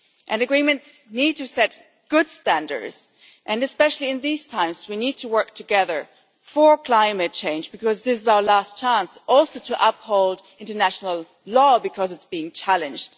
And agreements need to set good standards, and especially in these times we need to work together for climate change, as this is our last chance to uphold international law because it is being challenged.